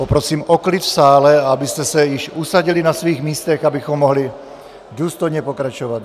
Poprosím o klid v sále, abyste se již usadili na svých místech, abychom mohli důstojně pokračovat.